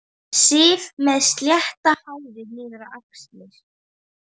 Sif með slétt hárið niður á axlir.